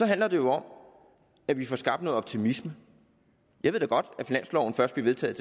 handler jo om at vi får skabt noget optimisme jeg ved godt at finansloven først bliver vedtaget